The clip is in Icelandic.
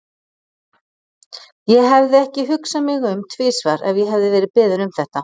Ég hefði ekki hugsað mig um tvisvar ef ég hefði verið beðin um þetta.